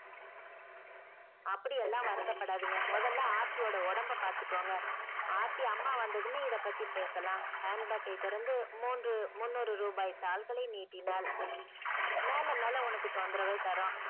அப்படியெல்லாம் வருத்தப்படாதீங்க முதல்ல ஆர்த்தியோட உடம்ப பாத்துக்கோங்க ஆர்த்தி அம்மா வந்ததுமே இதைபத்தி பேசலாம் handbag யை திறந்து மூன்று முன்னூறு ரூபாய் தாள்களை நீட்டினாள். மேல மேல உனக்கு தொந்தரவை தரோம்.